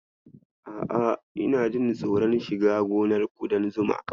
A'a, ina jin tsoron shiga gonar ƙudan zuma.